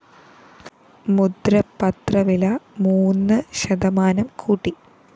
മുദ്രപത്രവില മൂന്ന് ശതമാനം കൂട്ടി